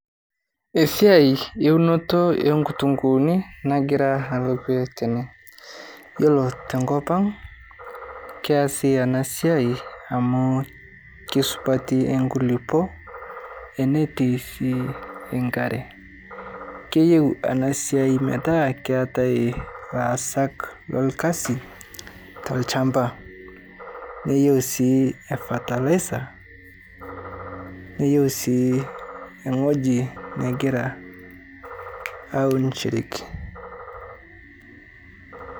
siai eunoto oonkitunguuni nagira alo dukuya tene, yiolo tenkop ang' naa keesi ena siai amu kesupati inkulukuon netii sii enkare keyieu ena siai metaa keetae ilaasak lorkasi tolchamba. Niyieu sii fertilizer, neyieu sii ewueji naunishoreki.